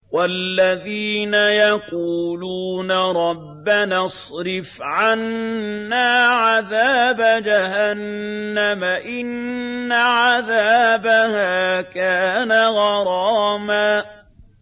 وَالَّذِينَ يَقُولُونَ رَبَّنَا اصْرِفْ عَنَّا عَذَابَ جَهَنَّمَ ۖ إِنَّ عَذَابَهَا كَانَ غَرَامًا